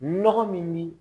Nɔgɔ min ni